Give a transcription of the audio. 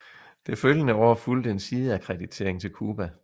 Det følgende år fulgte en sideakkreditering til Cuba